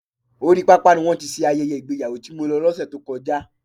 Orí pápá ni wọ́n ti ṣe ayẹyẹ ìgbéyàwó tí mo lọ lọse tó kọjá.